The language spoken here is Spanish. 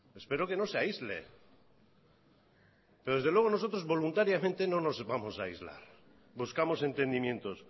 espero que no se aísle desde luego nosotros voluntariamente no nos vamos a aislar buscamos entendimientos